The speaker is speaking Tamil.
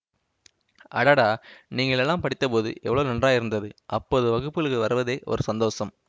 அடடா நீங்கள் எல்லாம் படித்தபோது எவ்வளவு நன்றாயிருந்தது அப்போது வகுப்புளு வருவதே ஒரு சந்தோஷம்